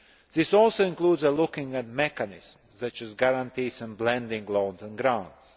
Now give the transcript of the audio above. This also includes looking at mechanisms, such as guarantees and blending loans and grants.